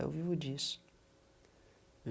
Eu vivo disso.